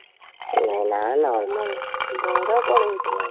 ଅ ନା ନା ବଡ କ'ଣ ଏଠି ଆଉ